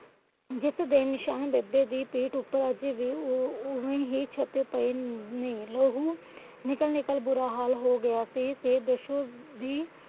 ਜਿਸ ਦੇ ਨਿਸ਼ਾਨ ਬੇਬੇ ਦੀ ਪੀਠ ਤੇ ਅੱਜ ਵੀ ਓਵੇ ਹੀ ਛਪੇ ਪਏ ਨੇ। ਲਹੂ ਨਿਕਲ ਨਿਕਲ ਬੁਰਾ ਹਾਲ ਹੋ ਗਿਆ ਸੀ। ਤੇ ਪਾਸ਼ੋ ਦੀ